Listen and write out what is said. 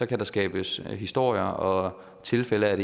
kan der skabes historier og tilfælde af